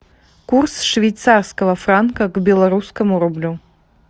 курс швейцарского франка к белорусскому рублю